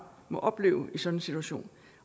må opleve i sådan en situation